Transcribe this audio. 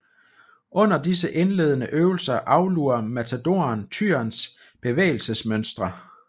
Under disse indledende øvelser aflurer matadoren tyrens bevægelsesmønstre